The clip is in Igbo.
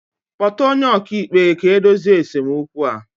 Kpọta onye ọkàikpe ga-edozi esemokwu a